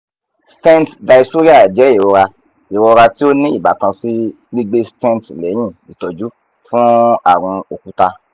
stent dysuria jẹ irora irora ti o ni ibatan si gbigbe stent lẹhin itọju fun arun okuta